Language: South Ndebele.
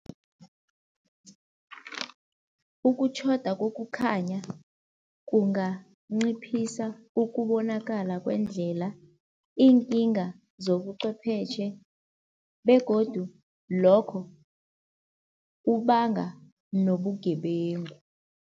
Ukutjhoda kokukhanya kunganciphisa ukubonakala kwendlela, iinkinga zobucwepheshe begodu lokho kubanga nobugebengu.